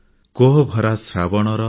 କୋହଭରା ଶ୍ରାବଣର